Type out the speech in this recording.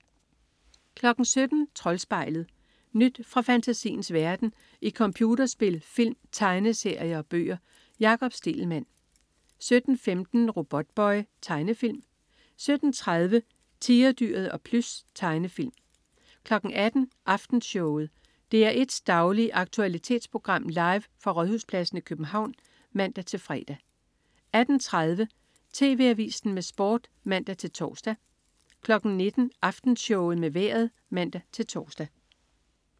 17.00 Troldspejlet. Nyt fra fantasiens verden i computerspil, film, tegneserier og bøger. Jakob Stegelmann 17.15 Robotboy. Tegnefilm 17.30 Tigerdyret og Plys. Tegnefilm 18.00 Aftenshowet. DR1s daglige aktualitetsprogram, live fra Rådhuspladsen i København (man-fre) 18.30 TV Avisen med Sport (man-tors) 19.00 Aftenshowet med Vejret (man-tors)